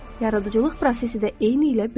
Yaradıcılıq prosesi də eynilə belədir.